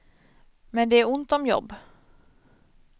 Men det är ont om jobb.